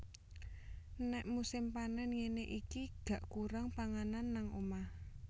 Nek musim panen ngene iki gak kurang panganan nang omah